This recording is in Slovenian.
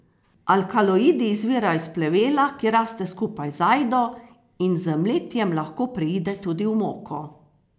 Alkaloidi izvirajo iz plevela, ki raste skupaj z ajdo in z mletjem lahko preide tudi v moko.